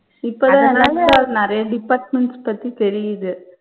இப்ப தான் நிறைய departments பத்தி தெரியுது.